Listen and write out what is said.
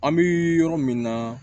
An bɛ yɔrɔ min na